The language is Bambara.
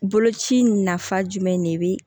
Boloci nafa jumɛn de bi